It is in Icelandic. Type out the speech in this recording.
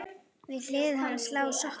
Við hlið hans lá sokkur.